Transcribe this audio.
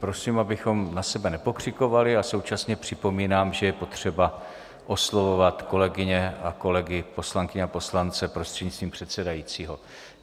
Prosím, abychom na sebe nepokřikovali, a současně připomínám, že je potřeba oslovovat kolegyně a kolegy, poslankyně a poslance, prostřednictvím předsedajícího.